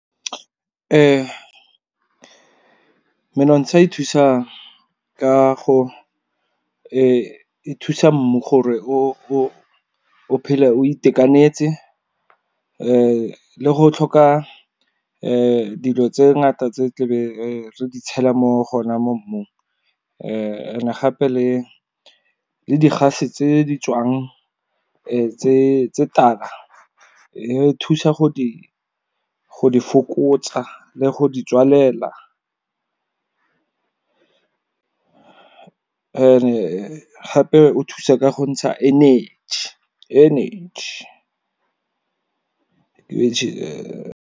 Menontsha e thusa ka go thusa mmu gore o phele o itekanetse, le go tlhoka dilo tse ngata tse tlebe re di tshela mo go ona mo mmung, and gape le di gase tse di tswang tse tala. E thusa go di fokotsa, le go di tswalela and gape o thusa ka go ntsha energy.